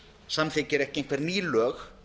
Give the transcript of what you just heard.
samþykkir ekki einhver ný lög